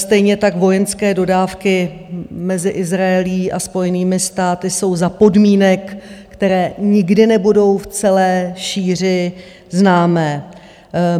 Stejně tak vojenské dodávky mezi Izraelem a Spojenými státy jsou za podmínek, které nikdy nebudou v celé šíři známy.